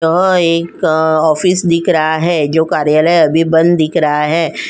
यहाँ एक ऑफिस दिख रहा है जो कार्यालय अभी बंद दिख रहा है।